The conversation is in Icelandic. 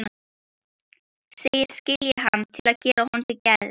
Segist skilja hann til að gera honum til geðs.